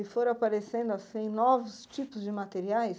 E foram aparecendo assim novos tipos de materiais?